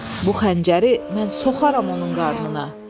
Bu xəncəri mən soxaram onun qarnına.